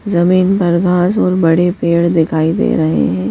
जमीन पर घास और बड़े पेड़ दिखाई दे रहे हैं।